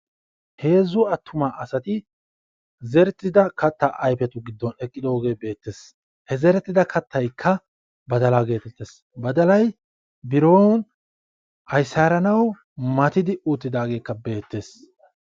Heezzu attuma asati zerettida kataa giddon eqqidosona. ha zerettida kattaykka badalaa geetettees. ikka aysaaranawu mattidi uttidaageekka beetees.